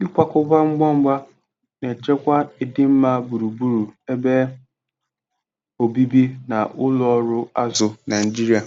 ikwakọba Ngwa Ngwa na-echekwa idimma gburugburu ebe obibi na ụlọ ọrụ azụ Naijiria.